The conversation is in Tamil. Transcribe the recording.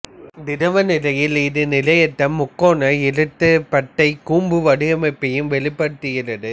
திரவநிலையில் இது நிலையற்ற முக்கோண இரட்டைப்பட்டைக் கூம்பு வடிவமைப்பையும் வெளிப்படுத்துகிறது